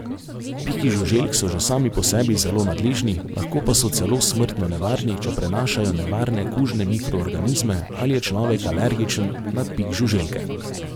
Piki žuželk so že sami po sebi zelo nadležni, lahko pa so celo smrtno nevarni, če prenašajo nevarne kužne mikroorganizme ali je človek alergičen na pik žuželke.